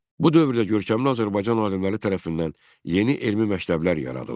Bu dövrdə görkəmli Azərbaycan alimləri tərəfindən yeni elmi məktəblər yaradılmışdı.